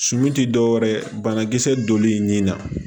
Suman ti dɔwɛrɛ ye banakisɛ donli nin na